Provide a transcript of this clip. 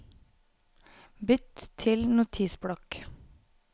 Bytt til Notisblokk